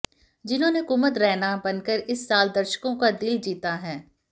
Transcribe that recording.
जिन्होंने कुमुद रैना बनकर इस साल दर्शकों का दिल जीता है